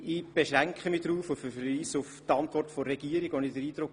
Ich habe verschiedene Ängste, Befürchtungen und Sorgen gespürt.